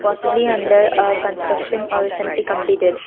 possibly under a construction or recently completed.